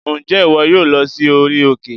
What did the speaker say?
Ǹjẹ́ ìwọ yóò lọ sí orí òkè?